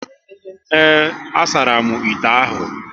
Ee, a saramu ite ahụ